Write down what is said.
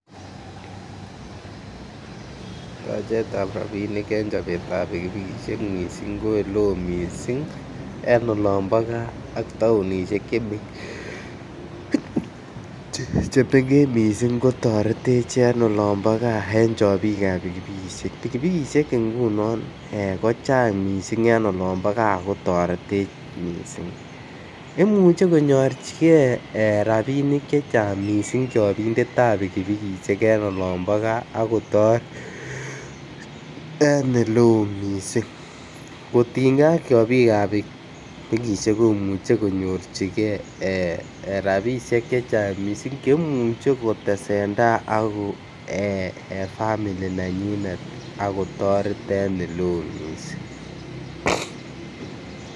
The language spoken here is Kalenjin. Tachetab rabisiek en chobetab pikipikisiek mising ko en Le oo mising en olon bo gaa ak taonisiek Che mengech mising kotoretech en olon bo gaa en chobik ab pikipikisiek, pikipikisiek ngunon ko chang mising en olon bo gaa gaa kotoretech mising imuche konyorchigei rabisiek chechang mising chobindetab pikipiki en olon bo gaa ak kotoret en Ole oo mising kotinygei ak chobik ab pikipikisiek komuche konyor chigei rabisiek chechang mising Che imuchei ko tesentai en family nenyinetvak ak kotoret en Ole oo mising